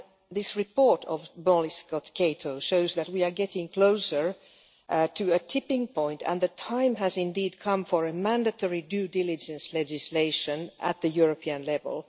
This report of Molly Scott Cato shows that we are getting closer to a tipping point and the time has indeed come for a mandatory due diligence legislation at the European level.